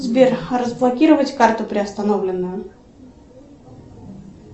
сбер разблокировать карту приостановленную